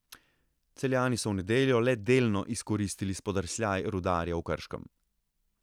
Celjani so v nedeljo le delno izkoristili spodrsljaj Rudarja v Krškem.